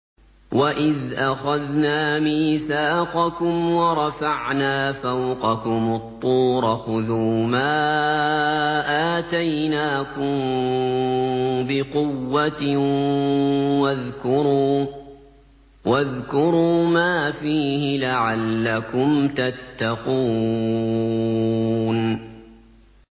وَإِذْ أَخَذْنَا مِيثَاقَكُمْ وَرَفَعْنَا فَوْقَكُمُ الطُّورَ خُذُوا مَا آتَيْنَاكُم بِقُوَّةٍ وَاذْكُرُوا مَا فِيهِ لَعَلَّكُمْ تَتَّقُونَ